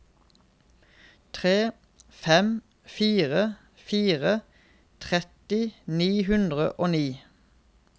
tre fem fire fire tretti ni hundre og ni